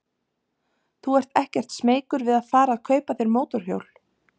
Þú ert ekkert smeykur við að fara að kaupa þér mótorhjól?